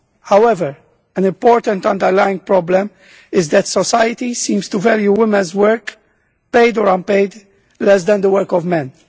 However, an important underlying problem is that society seems to value women's work, paid or unpaid, less than the work of men.